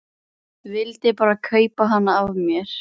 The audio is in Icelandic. Vildi bara kaupa hana af mér!